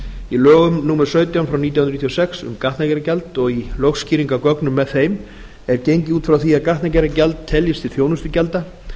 í lögum númer sautján nítján hundruð níutíu og sex um gatnagerðargjald og í lögskýringargögnum með þeim er gengið út frá því að gatnagerðargjald teljist til þjónustugjalda